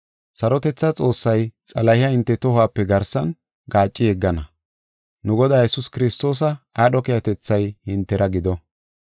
Sarotethaa Xoossay Xalahiya hinte tohuwape garsan gaaci yeggana. Nu Godaa Yesuus Kiristoosa aadho keehatethay hintera gido.